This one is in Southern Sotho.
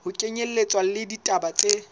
ho kenyelletswa le ditaba tse